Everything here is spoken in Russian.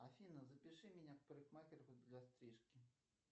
афина запиши меня к парикмахеру для стрижки